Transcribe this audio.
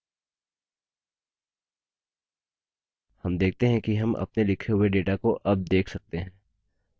हम देखते हैं कि हम अपने लिखे हुए data को अब देख सकते हैं